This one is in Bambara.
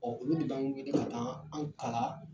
Ɔ olu de b'an wele ka taa an kalan